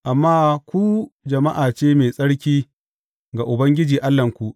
Amma ku jama’a ce mai tsarki ga Ubangiji Allahnku.